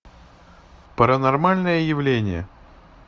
паранормальное явление